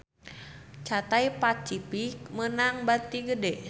Cathay Pacific meunang bati gede